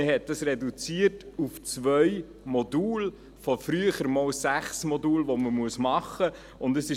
Man hat es auf zwei Module reduziert, von früher sechs Modulen, die man machen muss.